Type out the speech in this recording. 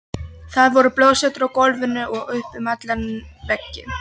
Það voru blóðslettur á gólfinu og upp um alla veggi!